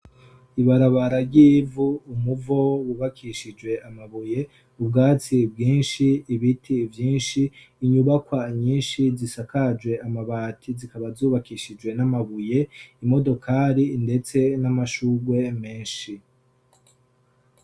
Ibarabara ry'ivu, umuvo wubakishije amabuye, ubwatsi bwinshi, ibiti vyinshi, inyubakwa nyinshi zisakajwe amabati zikaba zubakishijwe n'amabuye, imodokari ndetse n'amashugwe menshi.